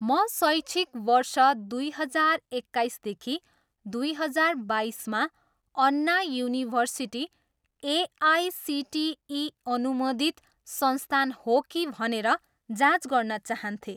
म शैक्षिक वर्ष दुई हजार एक्काइसदेखि दुई हजार बाइसमा अन्ना युनिभर्सिटी एआइसिटिई अनुमोदित संस्थान हो कि? भनेर जाँच गर्न चाहन्थेँ